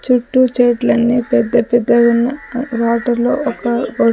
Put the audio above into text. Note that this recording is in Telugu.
చుట్టూ చెట్లన్నీ పెద్ద పెద్దయున్నాయ్ ఆ వాటర్లో ఒక--